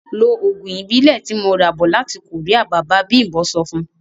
Ló oògùn Ìbílẹ̀ tí mo ra bọ̀ láti Korea! Bàbá bimbo sọ fun.